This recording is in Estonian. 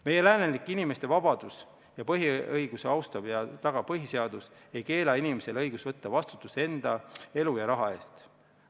Meie läänelik inimeste vabadusi ja põhiõigusi austav ja tagav põhiseadus ei keela inimesele õigust võtta vastutust enda elu ja raha eest.